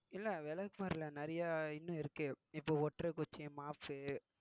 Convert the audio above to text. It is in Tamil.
இல்லை விளக்குமாறு இல்லை நிறையா இன்னும் இருக்கு இப்போ ஒட்டர குச்சி, மாப்பு